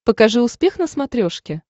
покажи успех на смотрешке